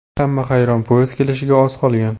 Hamma hayron, poyezd kelishiga oz qolgan.